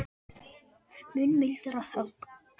Mun mildara högg